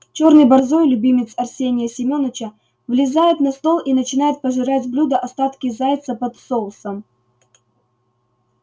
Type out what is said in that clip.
чёрный борзой любимец арсения семёныча взлезает на стол и начинает пожирать с блюда остатки зайца под соусом